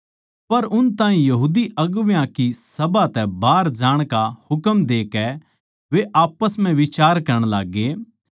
पर उन ताहीं सभा तै बाहर जाण का हुकम देकै वे आप्पस म्ह बिचार करण लाग्गे